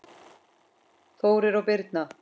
Þórir og Birna.